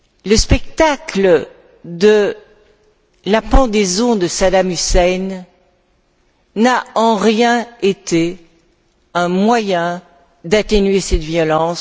Le spectacle de la pendaison de Saddam Hussein n'a en rien été un moyen d'atténuer cette violence.